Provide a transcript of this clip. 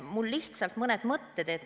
Mul on lihtsalt mõned mõtted.